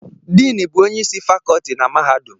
Din bụ onye isi Fakọọti na mahadum